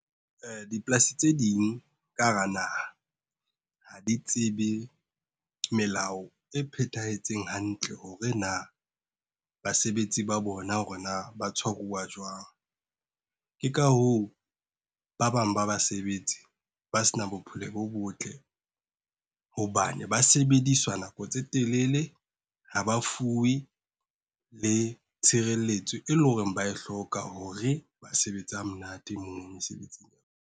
Dipolasi tse ding ka hara naha, ha di tsebe, melao e phethahetseng hantle hore na, basebetsi ba bona hore na ba tshwaruwa jwang. Ke ka hoo, ba bang ba basebetsi ba se na bophelo bo botle. Hobane ba sebediswa nako tse telele ha ba fuwe, le tshireletso e leng hore ba e hloka hore ba sebetse ha monate mono mesebetsing.